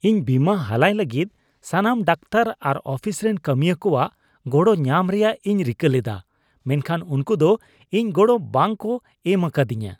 ᱤᱧ ᱵᱤᱢᱟ ᱦᱟᱞᱟᱭ ᱞᱟᱹᱜᱤᱫ ᱥᱟᱱᱟᱢ ᱰᱟᱠᱛᱟᱨ ᱟᱨ ᱚᱯᱷᱤᱥ ᱨᱮᱱ ᱠᱟᱹᱢᱤᱭᱟᱹ ᱠᱚᱣᱟᱜ ᱜᱚᱲᱚ ᱧᱟᱢ ᱨᱮᱭᱟᱜ ᱤᱧ ᱨᱤᱠᱟᱹ ᱞᱮᱫᱟ ᱾ ᱢᱮᱱᱠᱷᱟᱱ ᱩᱱᱠᱩ ᱫᱚ ᱤᱧ ᱜᱚᱲᱚ ᱵᱟᱝ ᱠᱚ ᱮᱢ ᱟᱠᱟᱫᱤᱧᱟ ᱾